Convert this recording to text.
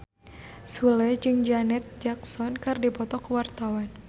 Sule jeung Janet Jackson keur dipoto ku wartawan